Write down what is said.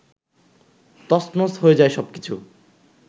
তছনছ হয়ে যায় সবকিছু